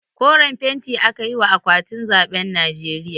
Koren fenti aka yi wa akwatin zaɓen najeriya